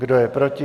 Kdo je proti?